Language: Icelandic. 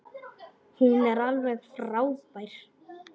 Hún er alveg frábær.